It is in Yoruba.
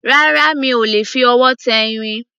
Rárá, mi ò lè fi ọwọ́ tẹ irin